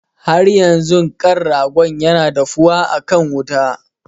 Haryanzun ƙan ragon na dafuwa akan wuta.